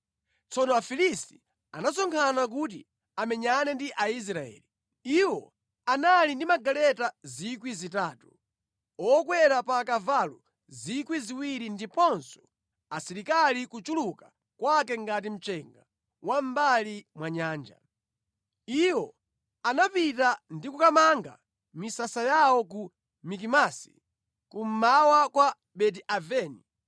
Tsono Afilisti anasonkhana kuti amenyane ndi Aisraeli. Iwo anali ndi magaleta 3,000, okwera pa akavalo 2,000 ndiponso asilikali kuchuluka kwake ngati mchenga wa mʼmbali mwa nyanja. Iwo anapita ndi kukamanga misasa yawo ku Mikimasi, kummawa kwa Beti-Aveni.